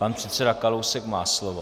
Pan předseda Kalousek má slovo.